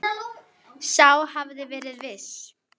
Sá hafði verið viss!